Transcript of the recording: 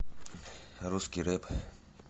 русский рэп